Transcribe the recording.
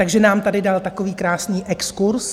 Takže nám tady dal takový krásný exkurz.